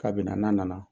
K'a bɛna n'a nana